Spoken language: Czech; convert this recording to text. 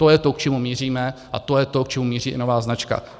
To je to, k čemu míříme, a to je to, k čemu míří i nová značka.